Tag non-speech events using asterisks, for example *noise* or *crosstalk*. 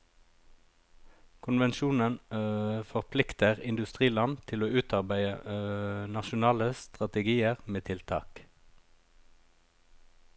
Konvensjonen *hesitation* forplikter industriland til å utarbeide *hesitation* nasjonale strategier med tiltak.